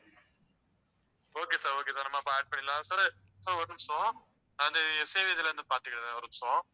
okay sir, okay sir நம்ம அப்ப add பண்ணிடலாம். sir ஒரு நிமிஷம், அந்த இதில இருந்து பார்த்துக்கறேன், ஒரு நிமிஷம்